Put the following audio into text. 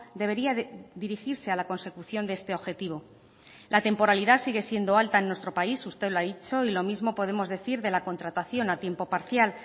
debería dirigirse a la consecución de este objetivo la temporalidad sigue siendo alta en nuestro país usted lo ha dicho y lo mismo podemos decir de la contratación a tiempo parcial